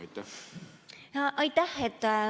Aitäh!